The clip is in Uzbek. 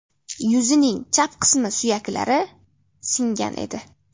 Yuzining chap qismi suyaklari singan edi.